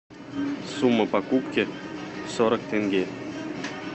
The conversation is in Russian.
сумма покупки сорок тенге